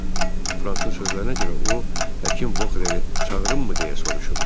Frankın sözlərinə görə o, həkim Bokhleri çağırımmı deyə soruşub.